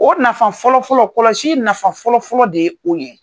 O nafa fɔlɔfɔlɔ kɔlɔsi nafa fɔlɔfɔlɔ de ye o ye.